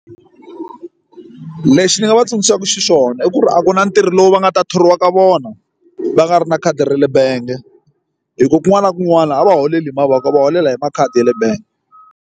Lexi ni nga va tsundzuxaku xona i ku ri a ku na ntirho lowu va nga ta thoriwa ka vona va nga ri na khadi ra le bangi hi kona kun'wana na kun'wana laha a va holeli hi mavoko va holela hi makhadi ya le bangi